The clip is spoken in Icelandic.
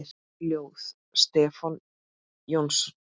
Ljóð: Stefán Jónsson